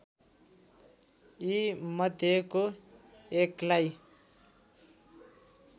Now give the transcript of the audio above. यि मध्येको एकलाई